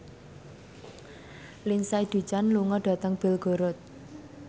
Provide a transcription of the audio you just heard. Lindsay Ducan lunga dhateng Belgorod